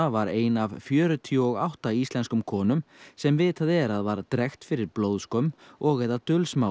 var ein af fjörutíu og átta íslenskum konum sem vitað er að var drekkt fyrir blóðskömm og eða